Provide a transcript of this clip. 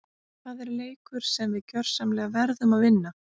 Það er leikur sem við gjörsamlega verðum að vinna!